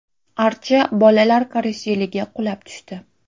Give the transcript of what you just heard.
Archa bolalar karuseliga qulab tushdi.